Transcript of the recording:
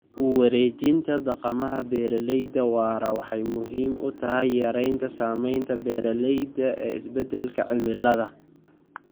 U wareejinta dhaqamada beeralayda waara waxay muhiim u tahay yaraynta saamaynta beeralayda ee isbedelka cimilada.